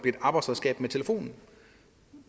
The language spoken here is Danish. et arbejdsredskab med telefonen